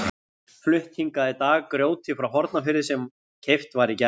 Flutt hingað í dag grjótið frá Hornafirði sem keypt var í gær.